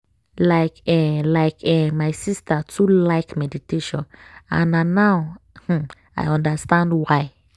like eh like eh my sister too like meditation and na now um i understand why.